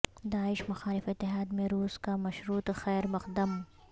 داعش مخالف اتحاد میں روس کا مشروط خیر مقدم